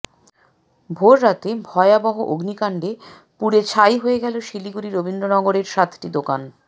ভোররাতে ভয়াবহ অগ্নিকাণ্ডে পুড়ে ছাই হয়ে গেল শিলিগুড়ি রবীন্দ্রনগরের সাতটি দোকান